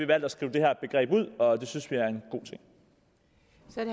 valgt at skrive det her begreb ud og det synes vi